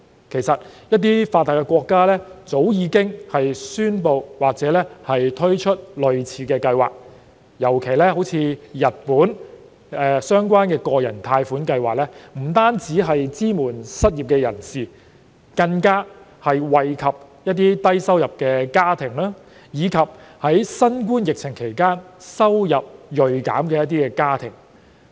其實，一些發達國家早已宣布或推出類似計劃，例如日本的相關個人貸款計劃，不單支援失業人士，更惠及低收入家庭，以及在新冠疫情期間收入銳減的家庭。